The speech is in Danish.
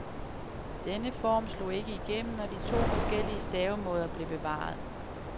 Denne form slog ikke igennem, og de to forskellige stavemåder blev bevaret.